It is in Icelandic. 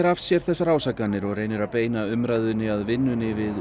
af sér þessar ásakanir og reynir að beina umræðunni að vinnunni við